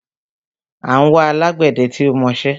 À ń wá alágbẹdẹ tí ó mọṣẹ́